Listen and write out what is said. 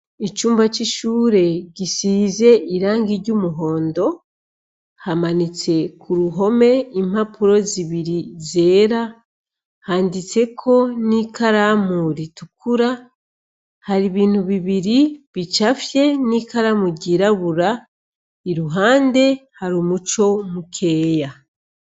Icumba c'ishure gisize irangi ry'umuhondo hamanitse ku ruhome impapuro zibiri zera handitseko n'ikalamu ritukura hari ibintu bibiri bicafye n'ikalamu ryirabura i ruhande hari umue uco mukeya.